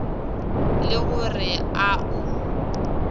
le go re a o